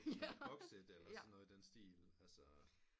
Boxit eller sådan noget i den stil